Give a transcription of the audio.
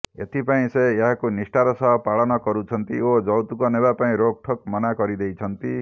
ଏଥିପାଇଁ ସେ ଏହାକୁ ନିଷ୍ଠାର ସହ ପାଳନ କରୁଛନ୍ତି ଓ ଯୌତୁକ ନେବା ପାଇଁ ରୋକଠୋକ୍ ମନା କରଦେଇଛନ୍ତି